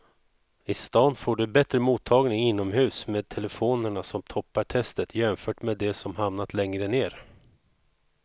I stan får du bättre mottagning inomhus med telefonerna som toppar testet jämfört med de som hamnat längre ner.